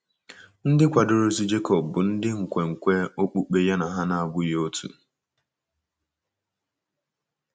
Ndị kwadoro ozu Jekọb bụ ndị nkwenkwe okpukpe ya na ha na - abụghị otu.